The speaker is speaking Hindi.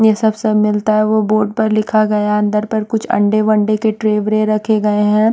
ये सब सब मिलता हैं वो बोर्ड पर लिखा गया हैं अंदर पर कुछ अंडे-वंडे के ट्रे वरे रखे गए हैं।